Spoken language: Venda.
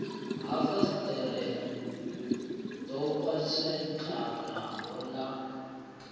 ha fasiṱere ḓo pwashekanaho ḽa